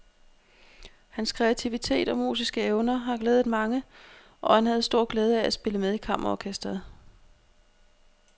Hans kreativitet og musiske evner har glædet mange, og han havde stor glæde af at spille med i kammerorkestret.